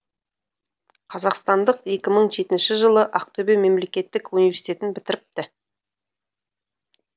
қазақстандық екі мың жетінші жылы ақтөбе мемлекеттік университетін бітіріпті